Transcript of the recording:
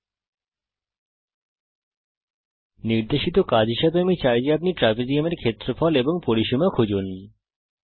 একটি নির্দেশিত কাজ হিসাবে আমি চাই যে আপনি ট্রাপিজিয়াম এর ক্ষেত্রফল এবং পরিসীমা খুঁজুন